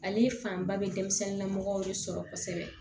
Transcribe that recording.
Ale fanba bɛ denmisɛnninlamɔgɔ de sɔrɔ kosɛbɛ